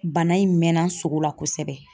Bana in mɛnna sogo la kosɛbɛ.